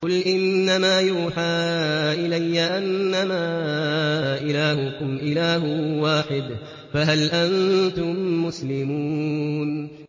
قُلْ إِنَّمَا يُوحَىٰ إِلَيَّ أَنَّمَا إِلَٰهُكُمْ إِلَٰهٌ وَاحِدٌ ۖ فَهَلْ أَنتُم مُّسْلِمُونَ